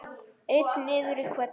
Einn niður í hvelli.